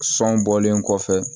Sɔn bɔlen kɔfɛ